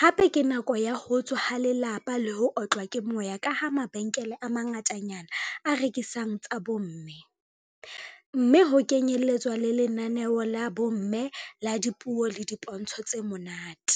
hape ke nako ya ho tswa ha lelapa le ho otlwa ke moya ka ha mabenkele a mangatanyana a rekisang tsa bomme, mme ho kenyeletswa le lenaneo la bomme la dipuo le dipontsho tse monate.